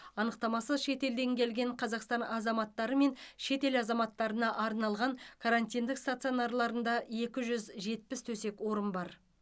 анықтамасыз шетелден келген қазақстан азаматтары мен шетел азаматтарына арналған карантиндік стационарларында екі жүз жетпіс төсек орын бар